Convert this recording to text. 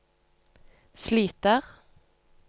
sliter